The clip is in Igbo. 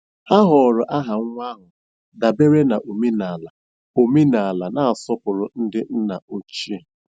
Ha họọrọ aha nwa ahụ dabere na omenala omenala na-asọpụrụ ndị nna ochie.